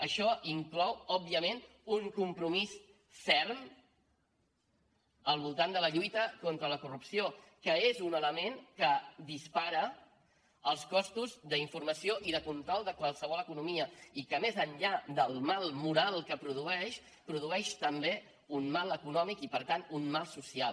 això inclou òbviament un compromís ferm al voltant de la lluita contra la corrupció que és un element que dispara els costos d’informació i de control de qualsevol economia i que més enllà del mal moral que produeix produeix també un mal econòmic i per tant un mal social